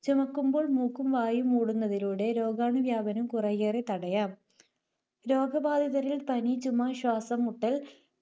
ചുമയ്ക്കുമ്പോൾ മൂക്കും വായയും മൂടുന്നതിലൂടെ രോഗാണുവ്യാപനം കുറെയേറെ തടയാം. രോഗബാധിതരിൽ പനി, ചുമ, ശ്വാസംമുട്ടൽ,